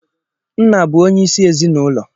Nna bụ onye isi ezinaụlọ.